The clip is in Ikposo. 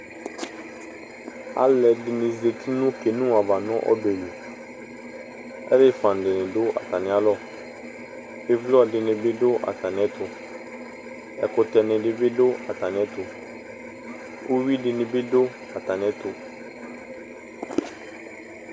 Alu ɛdini za ̵ti nu kino ava nu ɔbɛli Alu ɛfua dini du atami alɔ Ivlɔ dini du atami ɛtu Ɛkutɛni dini bi du atami ɛtu Uyui dini bi du atami ɛtu